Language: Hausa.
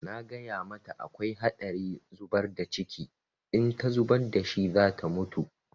Na gaya mata akwai haɗari zubar da ciki, in ta zubar da shi za ta mutu.